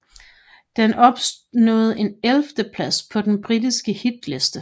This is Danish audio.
Den opnåede en 11 plads på den britiske hitliste